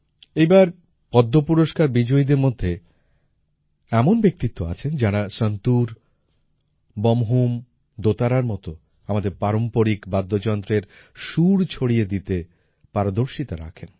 এই বার পদ্ম পুরস্কার বিজয়ীদের মধ্যে এমন ব্যক্তিত্ব আছেন যাঁরা সন্তুর বমহুম দোতারার মত আমাদের পারম্পরিক বাদ্যযন্ত্রের সুর ছড়িয়ে দিতে পারদর্শিতা রাখেন